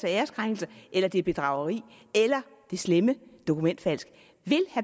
æreskrænkelse eller det er bedrageri eller det slemme dokumentfalsk